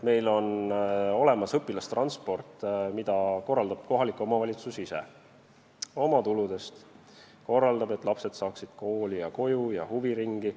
Meil on olemas õpilastransport, mida korraldab kohalik omavalitsus ise oma tuludest, et lapsed saaksid kooli, koju ja huviringi.